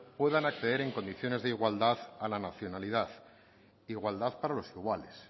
puedan acceder en condiciones de igualdad a la nacionalidad igualdad para los iguales